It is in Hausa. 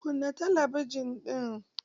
Kunna talabijin ɗin!